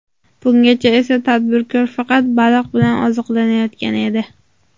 Bungacha esa tadbirkor faqat baliq bilan oziqlanayotgan edi.